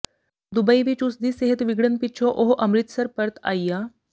Dubai ਵਿਚ ਉਸ ਦੀ ਸਿਹਤ ਵਿਗੜਨ ਪਿੱਛੋਂ ਉਹ ਅੰਮ੍ਰਿਤਸਰ ਪਰਤ ਆਇਆ